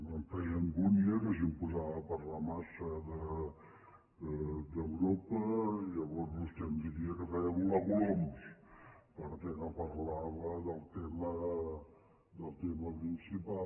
em feia angúnia que si em posava a parlar massa d’europa llavors vostè em diria que feia volar coloms perquè no parlava del tema principal